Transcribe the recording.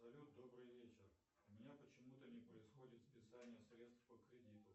салют добрый вечер у меня почему то не происходит списание средств по кредиту